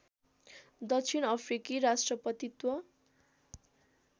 दक्षिण अफ्रिकी राष्ट्रपतित्व